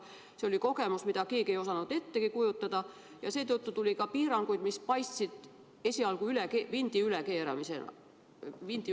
See oli kogemus, mida keegi ei osanud ettegi kujutada, ja seetõttu tuli ka piiranguid, mis paistsid esialgu vindi ülekeeramisena.